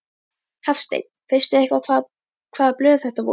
Hafsteinn: Veistu eitthvað hvaða blöð þetta voru?